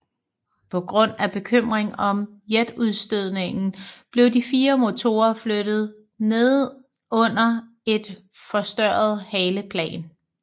På grund af bekymring om jetudstødningen blev de fire motorer flyttet nedunder et forstørret haleplan